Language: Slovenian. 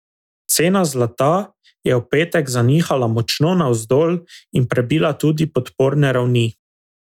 Cena zlata je v petek zanihala močno navzdol in prebila tudi podporne ravni.